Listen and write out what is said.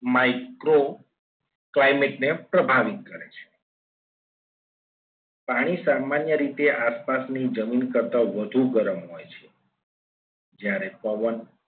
Micro climate ને પ્રભાવિત કરે છે પાણી સામાન્ય રીતે આપાતની જમીન કરતા વધુ ગરમ હોય છે જ્યારે પવન